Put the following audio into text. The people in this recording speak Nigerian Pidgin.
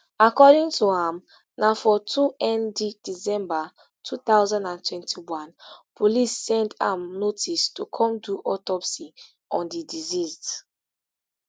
according to am na for twond december two thousand and twenty-one police send am notice to come do autopsy on di deceased